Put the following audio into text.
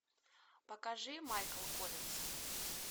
покажи майкл коллинз